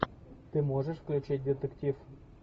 ты можешь включить детектив